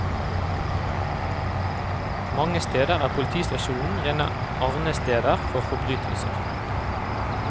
Mange steder er politistasjonene rene arnesteder for forbrytelser.